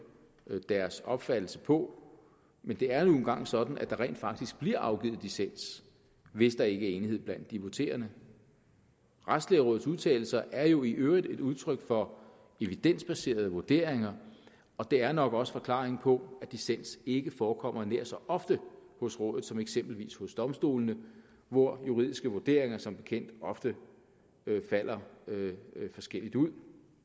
deres opfattelse på men det er nu engang sådan at der rent faktisk bliver afgivet dissens hvis der ikke er enighed blandt de voterende retsplejerådets udtalelser er jo i øvrigt et udtryk for evidensbaserede vurderinger og det er nok også forklaringen på at dissens ikke forekommer nær så ofte hos rådet som eksempelvis hos domstolene hvor juridiske vurderinger som bekendt ofte falder forskelligt ud